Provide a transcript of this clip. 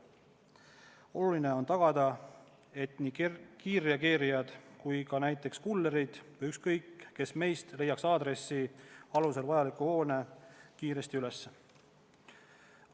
Oluline on tagada, et nii kiirreageerijad kui ka näiteks kullerid või ükskõik kes meist leiaks aadressi alusel otsitava hoone kiiresti üles.